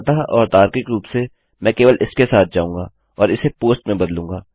साधारणतः और तार्किक रूप से मैं केवल इसके माध्यम से जाऊँगा और इसे पोस्ट में बदलूँगा